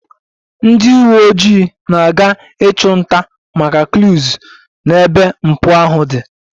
Ndị uweojii na-aga ịchụ nta maka clues n'ebe mpụ ahụ dị